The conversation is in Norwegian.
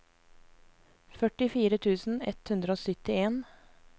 førtifire tusen ett hundre og syttien